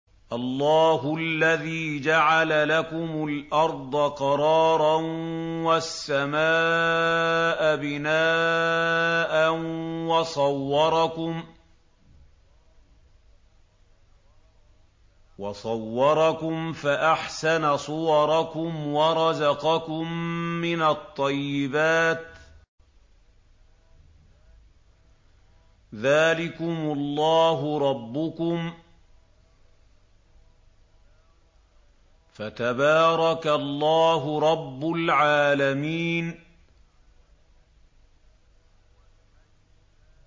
اللَّهُ الَّذِي جَعَلَ لَكُمُ الْأَرْضَ قَرَارًا وَالسَّمَاءَ بِنَاءً وَصَوَّرَكُمْ فَأَحْسَنَ صُوَرَكُمْ وَرَزَقَكُم مِّنَ الطَّيِّبَاتِ ۚ ذَٰلِكُمُ اللَّهُ رَبُّكُمْ ۖ فَتَبَارَكَ اللَّهُ رَبُّ الْعَالَمِينَ